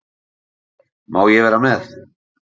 Má ég vera með?